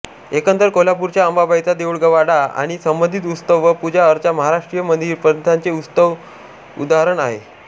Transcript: एकंदर कोल्हापूरच्या अंबाबाईचा देऊळवाडा आणि संबंधित उत्सव व पूजाअर्चा महाराष्ट्रीय मंदिरप्रथांचे उत्तम उदाहरण आहे